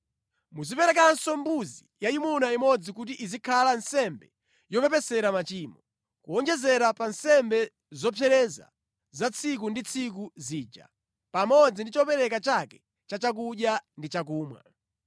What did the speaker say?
Muziperekanso mbuzi yayimuna imodzi kuti izikhale nsembe yopepesera machimo, kuwonjezera pa nsembe zopsereza za tsiku ndi tsiku zija pamodzi ndi chopereka chake cha chakudya ndi chakumwa.